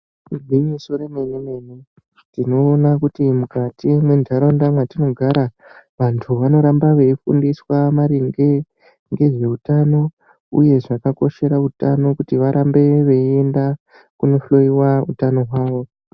Igwinyiso remenemene tinoona kuti mukati mendaraunda matinogara vantu vanoramba veifundiswa maringe nezveutano uye zvakakoshera utano uye varambe veienda kunohloiwa utano hwavo.